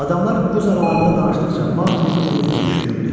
Adamlar öz aralarında danışdıqca Maqli öz-özünə düşünürdü.